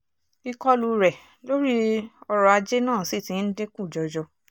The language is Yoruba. ìkọlù rẹ̀ lórí ọrọ̀ ajé náà sì ti ń dínkù jọjọ